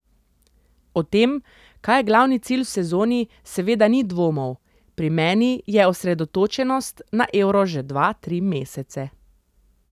O tem, kaj je glavni cilj v sezoni, seveda ni dvomov: "Pri meni je osredotočenost na Euro že dva, tri mesece.